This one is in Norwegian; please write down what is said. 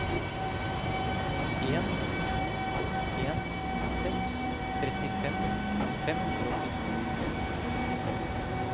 en to en seks trettifem fem hundre og åttito